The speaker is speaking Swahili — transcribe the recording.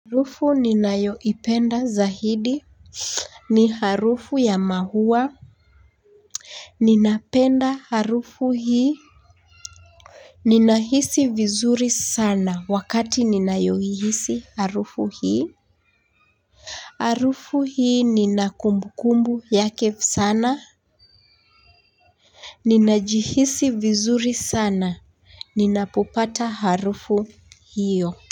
Harufu ninayoipenda zaidi ni harufu ya maua. Ninapenda harufu hii. Ninahisi vizuri sana wakati ninayoihisi harufu hii. Harufu hii nina kumbukumbu yake sana. Ninajihisi vizuri sana ninapopata harufu hiyo.